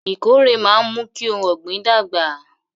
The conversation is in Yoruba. Ìkórè máa ń mú kí ohun ọ̀gbìn dàgbà